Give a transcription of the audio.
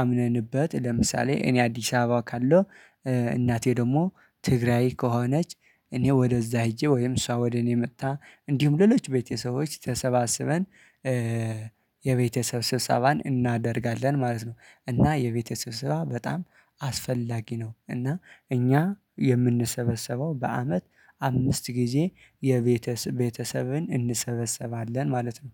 አምነንበት ለምሳሌ እኔ አዲስ አበባ ካለው እናቴ ደግሞ ትግራይ ከሆነች እኔ ወደዛ ሄጄ ወይም እሷ ወደ እኔ መጥታ እንዲሁም ሌሎች ቤተሰቦች ተሰባስበን። የቤተሰብ ስብሰባን እናደርጋለን ማለት ነው። እና የቤተሰብ ስብሰባ በጣም አስፈላጊ ነው። እና እኛ የምንሰበሰበው በአመት አምስት ጊዜ የቤተሰ ቤተሰብን እንሰበሰባለን ማለት ነው።